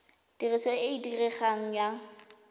tiriso e e diregang ya